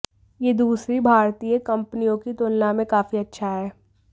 यह दूसरी भारतीय कंपनियों की तुलना में काफी अच्छा है